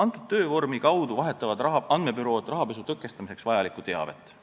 Selle töövormi kaudu vahetavad andmebürood rahapesu tõkestamiseks vajalikku teavet.